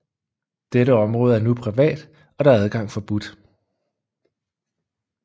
Dette område er nu privat og der er adgang forbudt